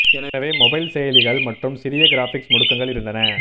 எனவே மொபைல் செயலிகள் மற்றும் சிறிய கிராபிக்ஸ் முடுக்கங்கள் இருந்தன